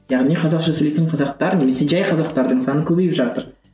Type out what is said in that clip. яғни қазақша сөйлейтін қазақтар немесе жай қазақтардың саны көбейіп жатыр